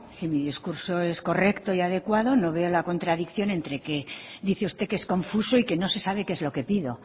si mi discurso es correcto y adecuado no veo la contradicción entre que dice usted que es confuso y que no se sabe que es lo que pido